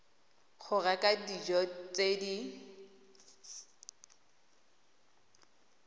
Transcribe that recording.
go reka dijo tse di